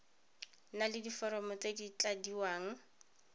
na diforomo tse di tladiwang